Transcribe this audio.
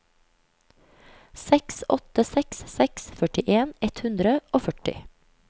seks åtte seks seks førtien ett hundre og førti